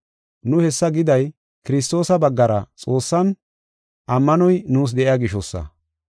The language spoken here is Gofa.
Nu hessa giday, Kiristoosa baggara Xoossan ammanoy nuus de7iya gishosa.